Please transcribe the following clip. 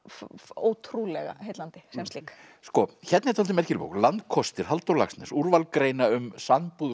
ótrúlega heillandi sem slík sko hérna er dálítið merkileg bók landkostir Halldór Laxness úrval greina um sambúð